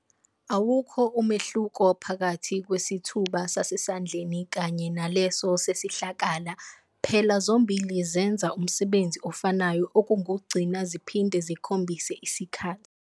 Awukho umehluko phakathi kwesithuba sasendlini kanye naleso sesihlakala, phela zombhili zenza umsebenzi ofanayo, okungukugcina ziphinde zikhombhise isikhathi.